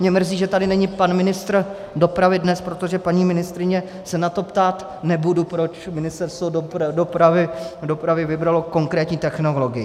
Mě mrzí, že tady není pan ministr dopravy dnes, protože paní ministryně se na to ptát nebudu, proč Ministerstvo dopravy vybralo konkrétní technologii.